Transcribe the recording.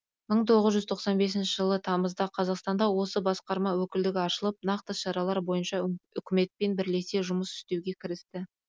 мың тоғыз жүз тоқсан бесінші жылы тамызда қазақстанда осы басқарма өкілдігі ашылып нақты шаралар бойынша үкіметпен бірлесе жұмыс істеуге кірісті